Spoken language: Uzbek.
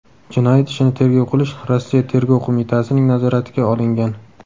Jinoyat ishini tergov qilish Rossiya Tergov qo‘mitasining nazoratiga olingan.